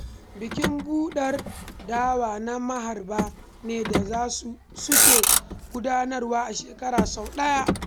Bikin buɗar dawa na maharba ne da suke gudanarwa a shekara sau ɗaya